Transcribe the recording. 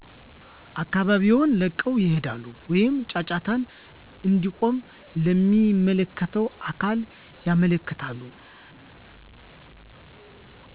አካባቢውን ለቀው ይሄዳሉ ወይም ጫጫታው እንዲቆም ለሚመለከተው አካል ያመለክታሉ